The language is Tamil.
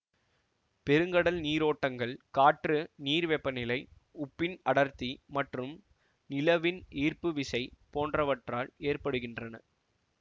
பெருங்கடல் நீரோட்டங்கள் காற்று நீர் வெப்பநிலை உப்பின் அடர்த்தி மற்றும் நிலவின் ஈர்ப்பு விசை போன்றவற்றால் ஏற்படுகின்றன